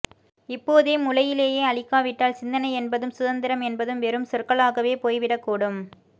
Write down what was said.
இப்போதே முளையிலேயே அழிக்காவிட்டால் சிந்தனை என்பதும் சுதந்திரம் என்பதும் வெறும் சொற்களாகவே போய்விடக்கூடும்